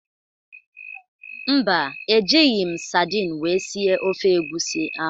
Mba, ejighị m sadin wee sie ofe egwusi ahụ